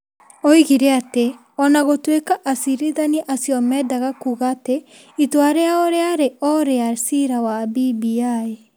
Oigire atĩ o na gũtuĩka acirithania acio meendaga kuuga atĩ itua rĩao rĩarĩ o rĩa ciira wa BBI,